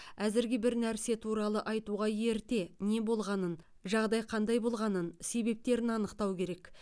әзірге бір нәрсе туралы айтуға ерте не болғанын жағдай қандай болғанын себептерін анықтау керек